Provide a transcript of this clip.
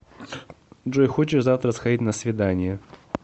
джой хочешь завтра сходить на свидание